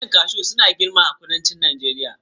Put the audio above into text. Bishiyun kashu suna girma sosai a kudancin Najeriya